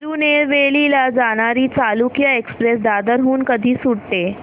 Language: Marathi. तिरूनेलवेली ला जाणारी चालुक्य एक्सप्रेस दादर हून कधी सुटते